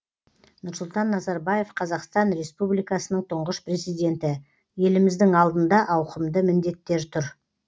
нұрсұлтан назарбаев қазақстан республикасының тұңғыш президенті еліміздің алдында ауқымды міндеттер тұр